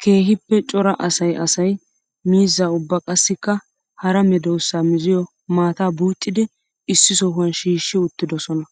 Keehippe cora asay asay miizza ubba qassikka hara medosa mizziyo maataa buucciddi issi sohuwan shiishshi uuttidosonna.